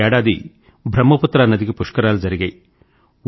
ఈ ఏడాది బ్రహ్మపుత్ర నదికి పుష్కరాలు జరిగాయి